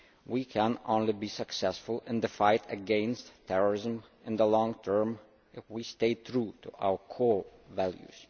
We can only be successful in the fight against terrorism in the long term if we stay true to our core values.